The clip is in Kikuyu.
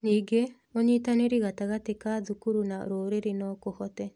Ningĩ, ũnyitanĩri gatagatĩ ka thukuru na rũrĩrĩ no kũhote